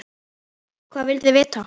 Hvað vilduð þið vita?